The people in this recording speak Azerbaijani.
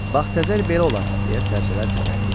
Bax təzər belə olar, deyə sərlər dilləndi.